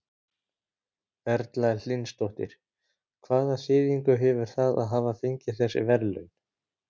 Erla Hlynsdóttir: Hvaða þýðingu hefur það að hafa fengið þessi verðlaun?